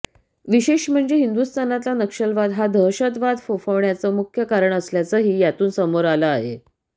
विशेष म्हणजे हिंदुस्थानातला नक्षलवाद हा दहशतवाद फोफावण्याचं मुख्य कारण असल्याचंही यातून समोर आलं आहे